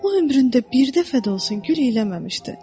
O ömründə bir dəfə də olsun gül eləməmişdi.